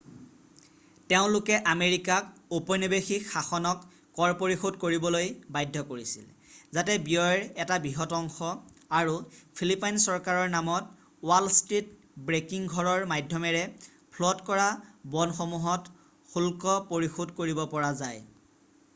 তেওঁলোকে আমেৰিকাক ঔপনিৱেশিক শাসনক কৰ পৰিশোধ কৰিবলৈ বাধ্য কৰিছিল যাতে ব্যয়ৰ এটা বৃহৎ অংশ আৰু ফিলিপাইন চৰকাৰৰ নামত ৱাল ষ্ট্ৰীট ব্ৰেকিং ঘৰৰ মাধ্যমেৰে ফ্ল'ট কৰা ব'ণ্ডসমূহত শুল্ক পৰিশোধ কৰিব পৰা যায়৷